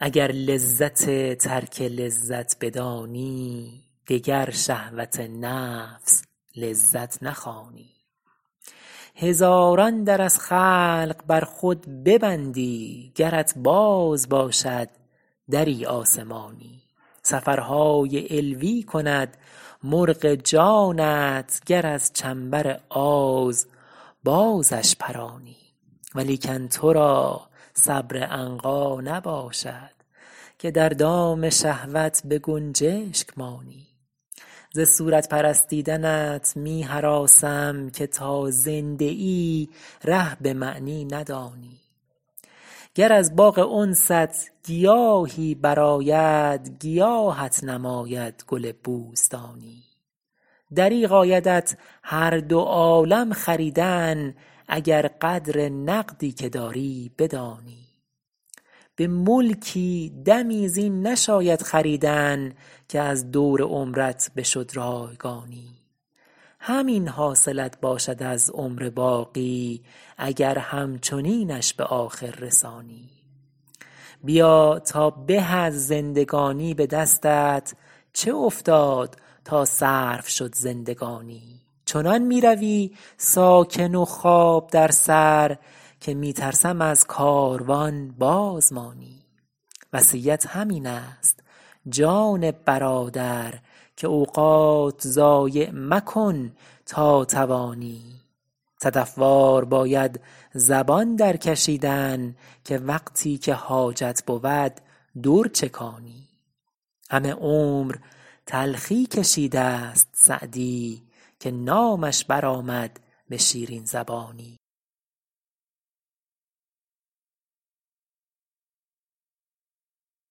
اگر لذت ترک لذت بدانی دگر شهوت نفس لذت نخوانی هزاران در از خلق بر خود ببندی گرت باز باشد دری آسمانی سفرهای علوی کند مرغ جانت گر از چنبر آز بازش پرانی ولیکن تو را صبر عنقا نباشد که در دام شهوت به گنجشک مانی ز صورت پرستیدنت می هراسم که تا زنده ای ره به معنی ندانی گر از باغ انست گیاهی برآید گیاهت نماید گل بوستانی دریغ آیدت هر دو عالم خریدن اگر قدر نقدی که داری بدانی به ملکی دمی زین نشاید خریدن که از دور عمرت بشد رایگانی همین حاصلت باشد از عمر باقی اگر همچنینش به آخر رسانی بیا تا به از زندگانی به دستت چه افتاد تا صرف شد زندگانی چنان می روی ساکن و خواب در سر که می ترسم از کاروان باز مانی وصیت همین است جان برادر که اوقات ضایع مکن تا توانی صدف وار باید زبان درکشیدن که وقتی که حاجت بود در چکانی همه عمر تلخی کشیده ست سعدی که نامش برآمد به شیرین زبانی